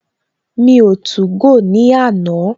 Mi o 2go ní àná